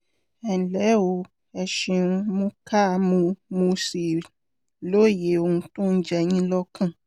ẹnlẹ́ o ẹ ṣeun mo kà mo mo sì lóye ohun tó ń jẹ yín lọ́kàn